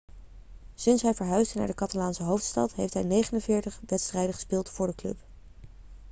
sinds hij verhuisde naar de catalaanse hoofdstad heeft hij 49 wedstrijden gespeeld voor de club